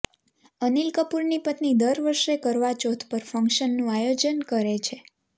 અનિલ કપૂરની પત્ની દર વર્ષે કરવા ચૌથ પર ફંક્શનનું આયોજન કરે છે